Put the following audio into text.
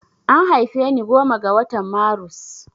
An haife ni goma ga watan marus